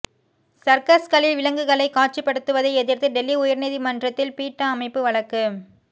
சர்க்கஸ்களில் விலங்குகளை காட்சிப்படுத்துவதை எதிர்த்து டெல்லி உயர்நீதிமன்றத்தில் பீட்டா அமைப்பு வழக்கு